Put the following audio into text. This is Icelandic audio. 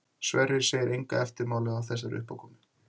Sverrir segir enga eftirmála af þessari uppákomu.